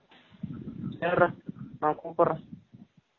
சரிரா நா கூபுட்ரேன்